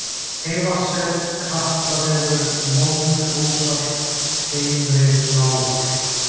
Heyvatnssel, Kattavegur, Vonduósar, Heimri-Lágar